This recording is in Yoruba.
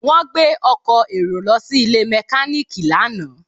Wọ́n gbé ọkọ̀ èrò lọ sí ilé mẹkáníìkì lánàá